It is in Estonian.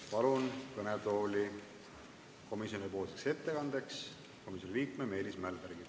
Palun komisjoni ettekandeks kõnetooli komisjoni liikme Meelis Mälbergi!